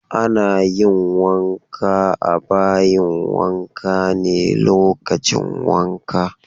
Ana yin wanka a bayin wanka ne lokacin wanka.